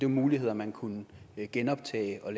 muligheder man kunne genoptage og